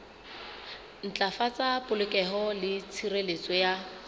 ntlafatsa polokeho le tshireletso ya